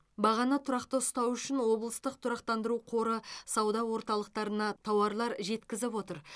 бағаны тұрақты ұстау үшін облыстық тұрақтандыру қоры сауда орталықтарына тауарлар жеткізіп отыр